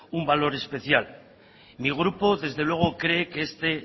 un valor especial mi grupo desde luego cree que este